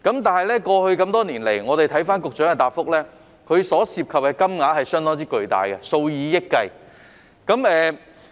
但是，過去多年來，一如局長的答覆所述，涉及的金額相當巨大，是數以億元計的。